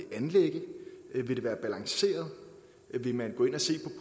anlægge vil det være balanceret vil man gå ind at se